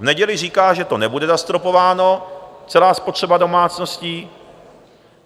V neděli říká, že to nebude zastropováno, celá spotřeba domácností.